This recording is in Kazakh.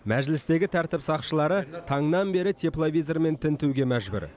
мәжілістегі тәртіп сақшылары таңнан бері тепловизормен тінтуге мәжбүр